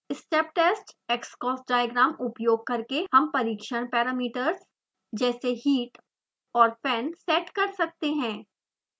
step test xocs diagram उपयोग करके हम परीक्षण पैरामीटर्स जैसे heat और fan सेट कर सकते हैं